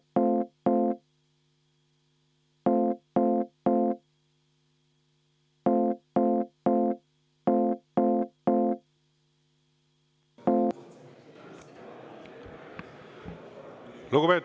Päevakord on ammendunud ja istung lõppenud.